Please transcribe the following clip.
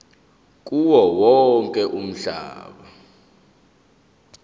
kuwo wonke umhlaba